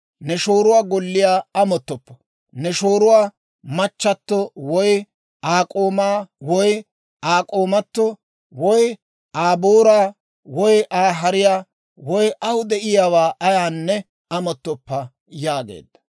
«Ne shooruwaa golliyaa amottoppa; ne shooruwaa machato, woy Aa k'oomaa, woy Aa k'oomato, woy Aa booraa, woy Aa hariyaa, woy aw de'iyaawaa ayaanne amottoppa» yaageedda.